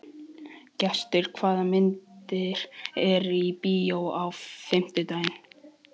Gestur, hvaða myndir eru í bíó á fimmtudaginn?